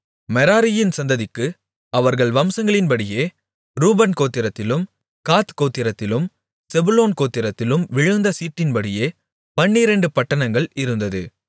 மெராரியின் சந்ததிக்கு அவர்கள் வம்சங்களின்படியே ரூபன் கோத்திரத்திலும் காத் கோத்திரத்திலும் செபுலோன் கோத்திரத்திலும் விழுந்த சீட்டின்படி பன்னிரெண்டு பட்டணங்கள் இருந்தது